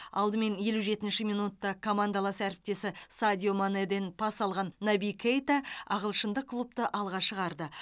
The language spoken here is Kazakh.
алдымен елу жетінші минутта командалас әріптесі садио манеден пас алған наби кейта ағылшындық клубты алға шығарды